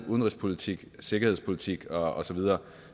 udenrigspolitikken sikkerhedspolitikken og så videre